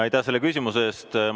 Aitäh selle küsimuse eest!